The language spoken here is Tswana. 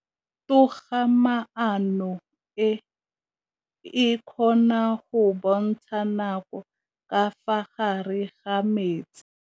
Toga-maanô e, e kgona go bontsha nakô ka fa gare ga metsi.